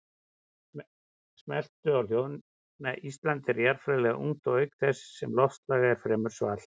Ísland er jarðfræðilega ungt auk þess sem loftslag er fremur svalt.